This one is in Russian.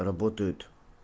работают